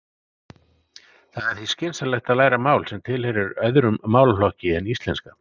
Það er því skynsamlegt að læra mál sem tilheyrir öðrum málaflokki en íslenska.